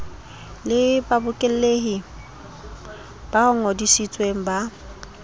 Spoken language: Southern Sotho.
le babokelli ba ngodisitsweng ba